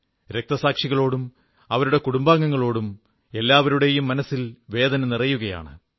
രക്തസാക്ഷികളോടും അവരുടെ കുടുംബങ്ങളോടും എല്ലാവരുടെയും മനസ്സിൽ വേദന നിറയുകയാണ്